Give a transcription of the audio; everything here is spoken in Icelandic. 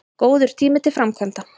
Góður tími til framkvæmda